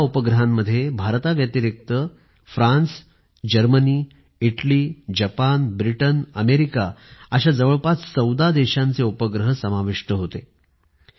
आणि या उपग्रहांमध्ये भारताव्यतिरिक्त France Germany Italy Japan Britain America अशा जवळपास १४ देशांचे उपग्रह समाविष्ट होते